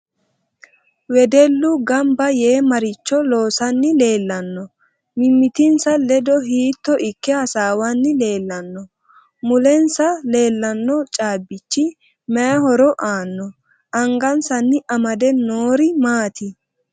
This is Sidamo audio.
Wedellu ganbba yee maricho loosani leelanno mimitinsa ledo hiitto ikke hasaawani leelanno mulensa leelanno caabichi mayi horo aano anggansani amade noori maati